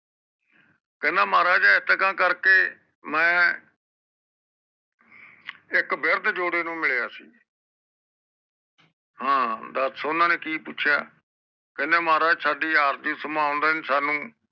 ਕਹਿੰਦਾ ਮਹਾਰਾਜ ਐਤਕਾਂ ਕਰਕੇ ਮੈ ਇਕ ਬਿਰਦ ਜੋੜੇ ਨੂੰ ਮਿਲਿਆ ਸੀ ਹਾਂ ਦਾਸ ਓਹਨਾ ਨੇ ਕਿ ਪੁੱਛਿਆ ਕਹਿੰਦਾ ਮਹਾਰਾਜ ਸਾਡੇ ਆਵਦੇ ਸੰਬਾਲ ਦੇ ਨੇ ਸਾਨੂ